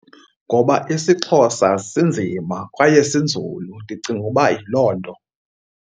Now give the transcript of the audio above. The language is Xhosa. Ngoba isiXhosa sinzima kwaye sinzulu, ndicinga uba yiloo nto.